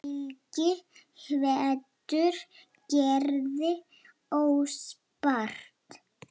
Helgi hvetur Gerði óspart.